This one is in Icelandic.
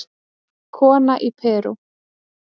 Kona í Perú